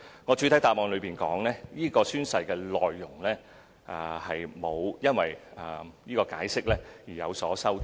我在主體答覆亦指出，宣誓內容並沒有因為《解釋》而有所修改。